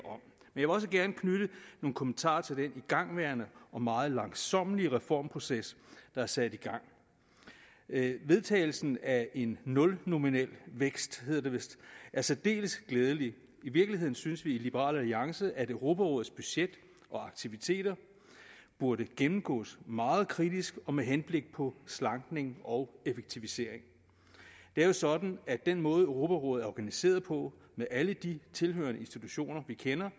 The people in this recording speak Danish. vil også gerne knytte nogle kommentarer til den igangværende og meget langsommelige reformproces der er sat i gang vedtagelsen af en nulnominel vækst hedder det vist er særdeles glædelig i virkeligheden synes vi i liberal alliance at europarådets budget og aktiviteter burde gennemgås meget kritisk med henblik på slankning og effektivisering det er jo sådan at den måde europarådet er organiseret på med alle de tilhørende institutioner vi kender